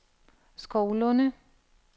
Skovlunde